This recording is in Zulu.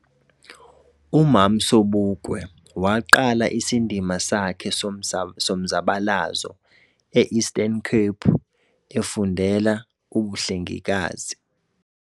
uMam Sobukwe wa qala isindima sakhe somzabalazo eEastern Cape efundela ubuhlengikazi.